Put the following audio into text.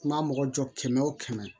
N ma mɔgɔ jɔ kɛmɛ wo kɛmɛ